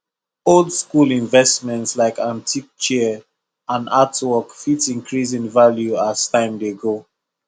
old school investments like antique chair and artwork fit increase in value as time dey go